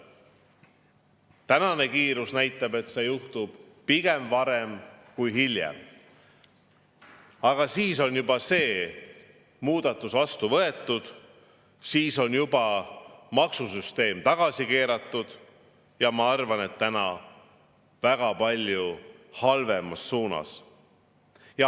Praegune kiirus näitab, et see juhtub pigem varem kui hiljem, aga siis on muudatus juba vastu võetud ja maksusüsteem tagasi keeratud, ja ma arvan, et väga palju halvemas suunas.